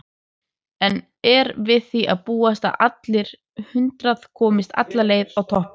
En er við því að búast að allir hundrað komist alla leið á toppinn?